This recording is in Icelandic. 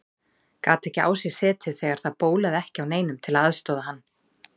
Gat ekki á sér setið þegar það bólaði ekki á neinum til að aðstoða hann.